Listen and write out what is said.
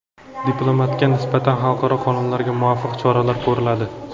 diplomatga nisbatan xalqaro qonunlarga muvofiq choralar ko‘riladi.